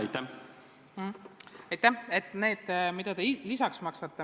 Aitäh!